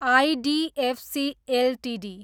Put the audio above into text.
IDFC Ltd